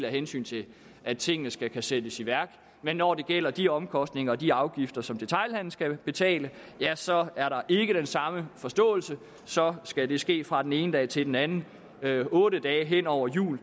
hensyn til at tingene skal kunne sættes i værk men når det gælder de omkostninger og de afgifter som detailhandelen skal betale så er der ikke den samme forståelse og så skal det ske fra den ene dag til den anden otte dage hen over jul